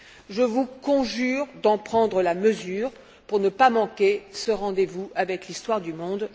Je vous conjure d'en prendre la mesure pour ne pas manquer ce rendez vous avec l'histoire du monde.